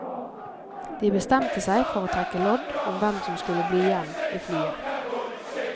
De bestemte seg for å trekke lodd om hvem som skulle bli igjen i flyet.